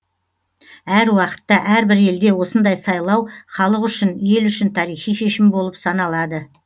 әр уақытта әрбір елде осындай сайлау халық үшін ел үшін тарихи шешім болып саналады